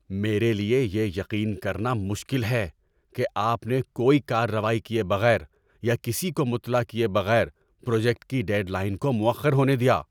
میرے لیے یہ یقین کرنا مشکل ہے کہ آپ نے کوئی کارروائی کیے بغیر یا کسی کو مطلع کیے بغیر پروجیکٹ کی ڈیڈ لائن کو مؤخر ہونے دیا۔